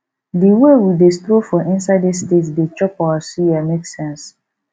di wey we dey stroll for inside estate dey chop our suya make sense